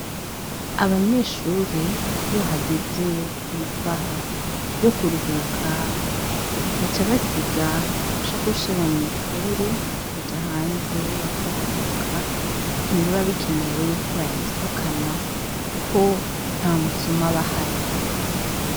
Abanyeshure , iyo hageze amasaha yo kuruhuka , baca basiga amashakoshi yabo mw’ishuri bakaja hanze bakaruhuka. Ntibiba bikenewe ko bayasohokana kuko ntamusuma aba ahari.